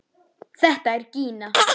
Þetta er Gína!